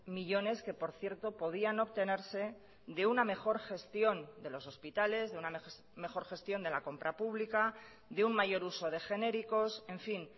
millones que por cierto podían obtenerse de una mejor gestión de los hospitales de una mejor gestión de la compra pública de un mayor uso de genéricos en fin